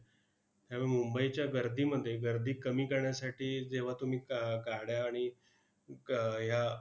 ह्या मुंबईच्या गर्दीमध्ये गर्दी कमी करण्यासाठी जेव्हा तुम्ही ग गाड्या आणि क या